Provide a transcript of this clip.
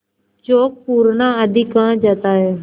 चौक पूरना आदि कहा जाता है